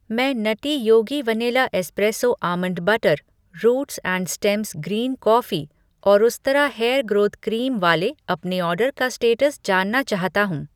मैं nutty Yogi vanilla espresso almond butter, roots and stems green coffee और Ustraa hair growth cream वाले अपने order का स्टेटस जानना चाहता हूँ।